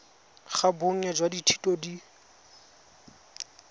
ga bonnye jwa dithuto di